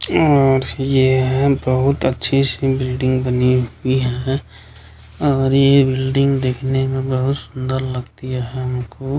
और ये है बहुत अच्छी-सी बिल्डिंग बनी हुई हैं और ये बिल्डिंग देखने में बहुत सुंदर लगती हमको।